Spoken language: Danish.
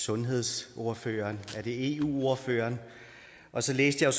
sundhedsordføreren er det eu ordføreren og så læste jeg